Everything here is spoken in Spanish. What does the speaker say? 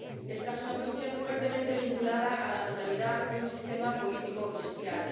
Esta es una cuestión fuertemente vinculada a la totalidad de un sistema político y social.